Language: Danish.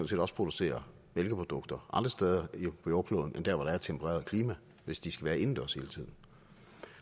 set også producere mælkeprodukter andre steder på jordkloden end der hvor der er et tempereret klima hvis de skal være indendørs hele tiden